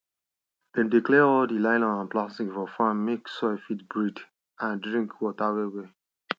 dem dey clear all di nylon and plastic for farm make soil fit breathe and drink water wellwell